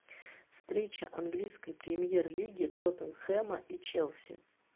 встреча английской премьер лиги тоттенхэма и челси